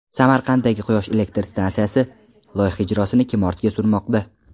Samarqanddagi quyosh elektr stansiyasi: loyiha ijrosini kim ortga surmoqda?.